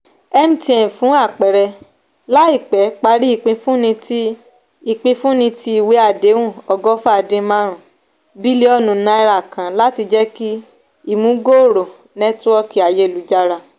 mtn fún àpẹẹrẹ laipẹ parí ipifunni tí ipifunni tí ìwé àdéhùn ogofa dín marun bilionu náírà kan láti jeki imubgooro netiwoki ayélujara.